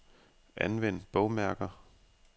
Anvend bogmærker.